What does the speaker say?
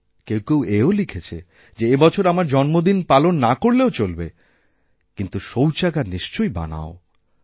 কেউ কেউ এও লিখেছে যে এবছর আমার জন্মদিন পালন না করলেও চলবেকিন্তু শৌচাগার নিশ্চয়ই বানাও